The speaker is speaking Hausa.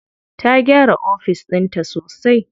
Ta gyara ofis ɗinta sosai.